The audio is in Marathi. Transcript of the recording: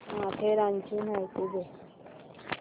माथेरानची माहिती दे